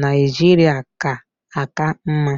Naijiria ga-aka mma.